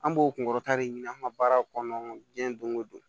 An b'o kunkɔrɔta de ɲini an ka baara kɔnɔ diɲɛ don ko don